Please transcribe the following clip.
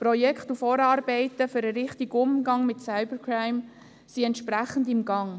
Projekte und Vorarbeiten für den richtigen Umgang mit Cybercrime sind entsprechend im Gang.